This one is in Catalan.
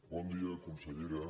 bon dia consellera